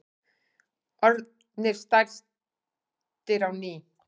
Orðnir stærstir á ný